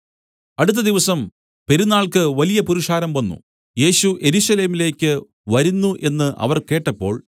അടുത്ത ദിവസം പെരുന്നാൾക്ക് വലിയ പുരുഷാരം വന്നു യേശു യെരൂശലേമിലേക്കു വരുന്നു എന്നു അവർ കേട്ടപ്പോൾ